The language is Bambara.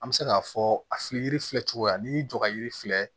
An bɛ se k'a fɔ a fili filɛ cogoya n'i y'i jɔ ka yiri filɛ